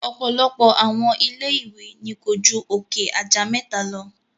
Ọ̀pọ̀lọpọ̀ àwọn ilé ìwé ni ko ju òkè aja mẹta lọ.